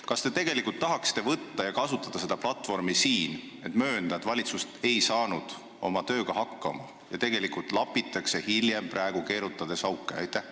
Kas te tahaksite kasutada seda platvormi siin selle möönmiseks, et valitsus ei saanud oma tööga hakkama ja tegelikult lapitakse praegu keerutades auke?